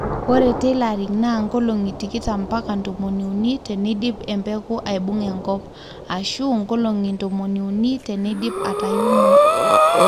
ore tillering naa nkolongi tikitam mpaka ntomoni uni teneidip embeku aibunga enkop ashu nkolongi ntomoni uni tenidip atuiuno